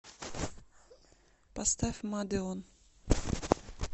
поставь мадеон